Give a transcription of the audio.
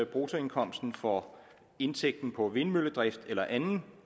bruttoindkomsten for indtægten på vindmølledrift eller anden